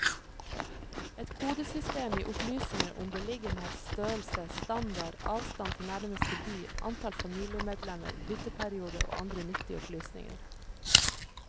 Et kodesystem gir opplysninger om beliggenhet, størrelse, standard, avstand til nærmeste by, antall familiemedlemmer, bytteperiode og andre nyttige opplysninger.